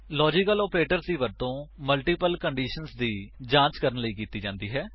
logical operators ਦੀ ਵਰਤੋ multiple condition ਦੀ ਜਾਂਚ ਕਰਨ ਲਈ ਕੀਤੀ ਜਾਂਦੀ ਹੈ